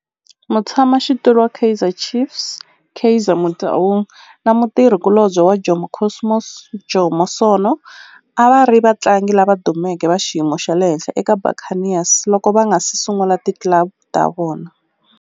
Mutshama xitulu wa Kaizer Chiefs Kaizer Motaung na mutirhi kulobye wa Jomo Cosmos Jomo Sono a va ri vatlangi lava dumeke va xiyimo xa le henhla eka Buccaneers loko va nga si sungula ti club ta vona.